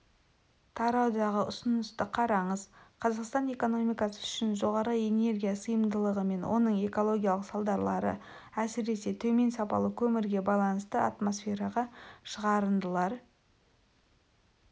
тараудағы ұсынысты қараңыз қазақстан экономикасы үшін жоғары энергия сиымдылығы мен оның экологиялық салдарлары әсіресе төмен сапалы көмірге байланысты атмосфераға шығарындылар